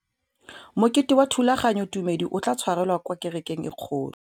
Mokete wa thulaganyôtumêdi o tla tshwarelwa kwa kerekeng e kgolo.